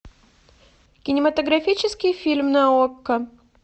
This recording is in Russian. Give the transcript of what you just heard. кинематографический фильм на окко